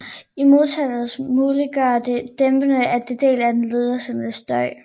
I modtagerenden muliggør det dæmpning af en del af den lederinducerede støj